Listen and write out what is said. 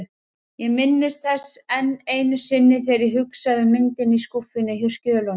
Ég minnist þess enn einu sinni, þegar ég hugsa um myndina í skúffunni hjá skjölunum.